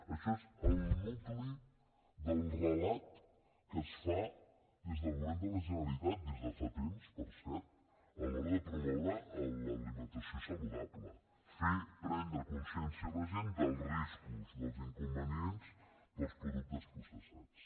això és el nucli del relat que es fa des del govern de la generalitat des de fa temps per cert a l’hora de promoure l’alimentació saludable fer prendre consciència a la gent dels riscos dels inconvenients dels productes processats